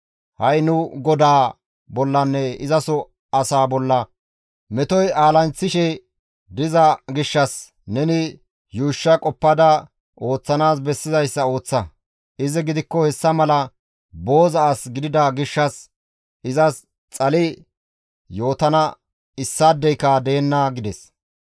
Ha7i nu godaa bollanne izaso asaa bolla metoy aalanththishe diza gishshas neni yuushsha qoppada ooththanaas bessizayssa ooththa. Izi gidikko hessa mala booza as gidida gishshas izas xali yootana issaadeyka deenna» gides.